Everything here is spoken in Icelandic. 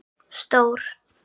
Stór